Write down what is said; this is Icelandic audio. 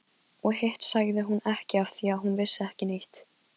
Og hitt sagði hún ekki afþvíað hún vissi ekki neitt.